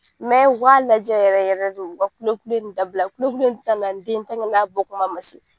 u ka lajɛ yɛrɛ yɛrɛ de u ka kulekule in dabila kulekule in tina na ni den ye n'a bɔkuma ma se.